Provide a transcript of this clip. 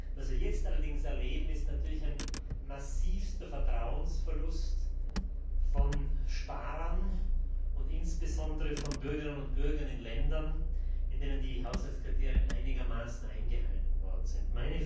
Was wir allerdings jetzt erleben, ist ein massivster Vertrauensverlust von Sparern und insbesondere von Bürgerinnen und Bürgern in Ländern, in denen die Haushaltskriterien einigermaßen eingehalten worden sind.